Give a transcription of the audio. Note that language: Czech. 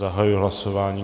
Zahajuji hlasování.